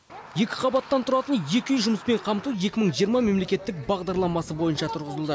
екі қабаттан тұратын екі үй жұмыспен қамту екі мың жиырма мемлекеттік бағдарламасы бойынша тұрғызылды